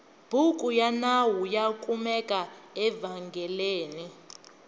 bhuku yanawu yakumeka evengeleni